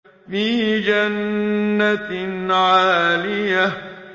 فِي جَنَّةٍ عَالِيَةٍ